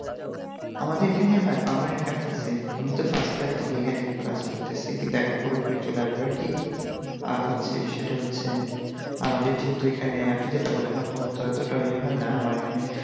আমাদের এইখানেই হয় permanent campus এই আমি তো সাড়ে ছয় থেকে এখানে ক্লাস করতেছি কিন্তু এখন পুরোপুরি চলে আসবে আর কি আ হচ্ছে বিষয় তা হচ্ছে আমাদের যেহেতু এখানে আপনি যেইটা বললেন না আপনাদের তো অতটা রেহাই না আমার এইখানে